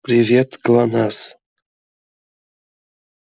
привет глонассс